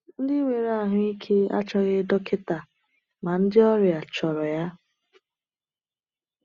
“Ndị nwere ahụ ike achọghị dọkịta, ma ndị ọrịa chọrọ ya.”